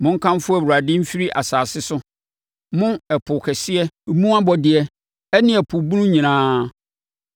Monkamfo Awurade mfiri asase so, mo, ɛpo kɛseɛ mu abɔdeɛ ne ɛpo bunu nyinaa,